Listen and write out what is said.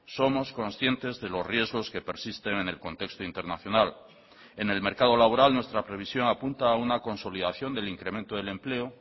somos conscientes de los riesgos que persisten en el contexto internacional en el mercado laboral nuestra previsión apunta a una consolidación del incremento del empleo